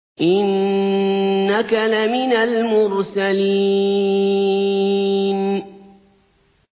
إِنَّكَ لَمِنَ الْمُرْسَلِينَ